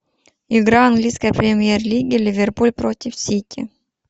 игра английской премьер лиги ливерпуль против сити